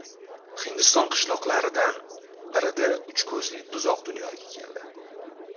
Hindiston qishloqlaridan birida uch ko‘zli buzoq dunyoga keldi .